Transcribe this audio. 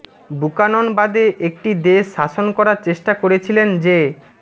Buchanan বাদে একটি দেশ শাসন করার চেষ্টা করেছিলেন যে